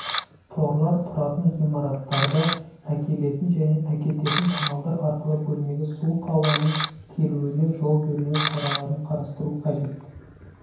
торлар тұратын ғимараттарда әкелетін және әкететін каналдар арқылы бөлмеге суық ауаның келуіне жол бермеу шараларын қарастыру қажет